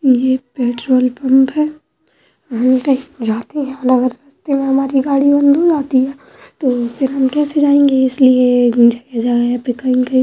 ये petrol pump है। जाती हैं अगर रस्ते में हमारी गाड़ी बंद हो जाती है तो फिर हम कैसे जाएंगे तो इसलिए जगह-जगह पे कहीं-कहीं --